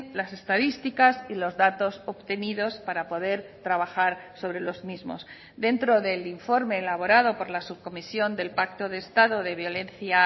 las estadísticas y los datos obtenidos para poder trabajar sobre los mismos dentro del informe elaborado por la subcomisión del pacto de estado de violencia